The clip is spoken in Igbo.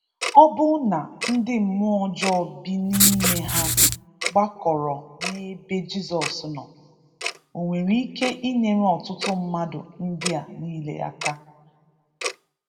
Ọbụna ndị mmụọ ọjọọ bi n’ime ha gbakọrọ n’ebe Jizọs nọ. Ọ nwere ike inyere ọtụtụ mmadụ ndị a niile aka?